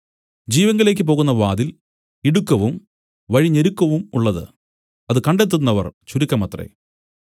ജീവങ്കലേക്ക് പോകുന്ന വാതിൽ ഇടുക്കവും വഴി ഞെരുക്കവുമുള്ളത് അത് കണ്ടെത്തുന്നവർ ചുരുക്കമത്രേ